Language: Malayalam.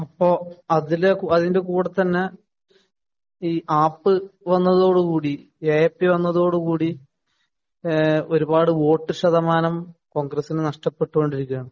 അപ്പൊ അതില്, അതിന്‍റെ കൂടെ തന്നെ ഈ ആപ് വന്നതോട് കൂടി എപി വന്നതോട് കൂടി ഒരു പാട് വോട്ടുശതമാനം കോണ്‍ഗ്രസ്സിന് നഷ്ടപ്പെട്ടു കൊണ്ടിരിക്കുകയാണ്.